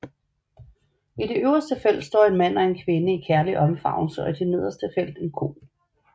I det øverste felt står en mand og en kvinde i kærlig omfavnelse og i det nederste felt en ko